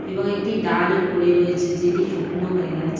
এবং একটি ডাল ও পরে রয়েছে যেটি শুকনো হয়ে গেছে।